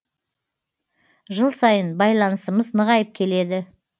жыл сайын байланысымыз нығайып келеді